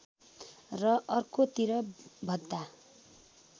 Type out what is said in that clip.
र अर्को तिर भद्दा